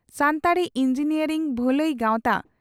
Santali engineer ᱵᱷᱟᱹᱞᱟᱹᱭ ᱜᱟᱣᱛᱟ